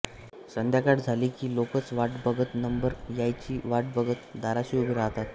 संध्याकाळ झाली की लोकच वाट बघत नंबर यायची वाट बघत दाराशी उभे राहतात